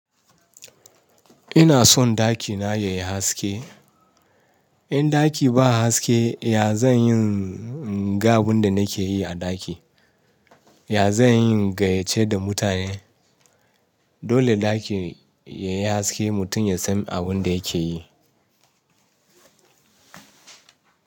Ina son ɗakina yayi haske. In ɗaki ba haske, ya zan yin ga abin da nake yi a ɗaki? Ya zan yin gayace da mutane? Dole ɗaki yayi haske mutum ya san abin da yake yi.